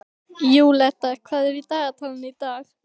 Júlíetta, hvað er í dagatalinu í dag?